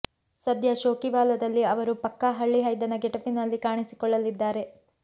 ಸದ್ಯ ಶೋಕಿವಾಲದಲ್ಲಿ ಅವರು ಪಕ್ಕಾ ಹಳ್ಳಿ ಹೈದನ ಗೆಟಪ್ ನಲ್ಲಿ ಕಾಣಿಸಿಕೊಳ್ಳಲಿದ್ದಾರೆ